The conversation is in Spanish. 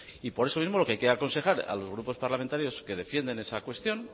y por eso mismo lo que hay que aconsejar a los grupos parlamentarios que defienden esa cuestión